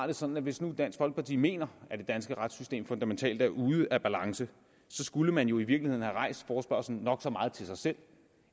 det sådan at hvis nu dansk folkeparti mener at det danske retssystem fundamentalt er ude af balance så skulle man jo i virkeligheden have rejst forespørgslen nok så meget til sig selv